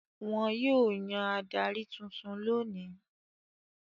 Wọn yóò yan adarí tuntun lónìí.